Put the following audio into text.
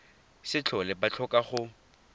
se tlhole ba tlhoka go